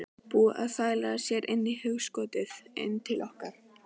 Búin að þvæla sér inn í hugskotið, inn til okkar